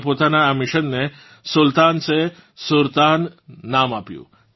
તેમણે પોતાનાં આ મિશન ને સુલ્તાન સે સુરતાન નામ આપ્યું